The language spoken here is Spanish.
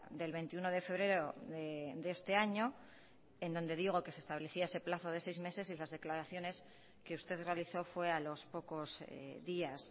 del veintiuno de febrero de este año en donde digo que se establecía ese plazo de seis meses y las declaraciones que usted realizó fue a los pocos días